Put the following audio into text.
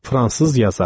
Fransız yazar.